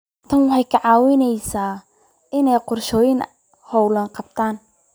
Tani waxay ka caawisaa inuu qorsheeyo hawlaha goobta.